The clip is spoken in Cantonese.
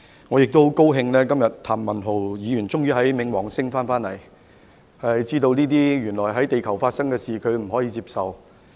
我也十分高興今天譚文豪議員終於從冥王星回來，知道這些在地球發生的事，原來他不能接受。